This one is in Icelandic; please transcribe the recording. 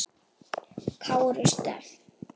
Kára Stef?